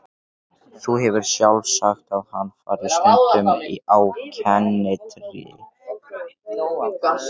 Þú hefur sjálf sagt að hann fari stundum á kenndirí.